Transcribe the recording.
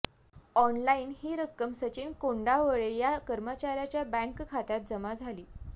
online ही रक्कम सचिन कोंडावळे या कर्मचार्याच्या बँक खात्यात जमा झाली